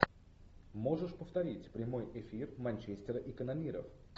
можешь повторить прямой эфир манчестера и канониров